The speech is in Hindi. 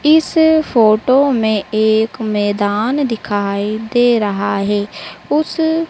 इस फोटो में एक मैदान दिखाई दे रहा है। उस--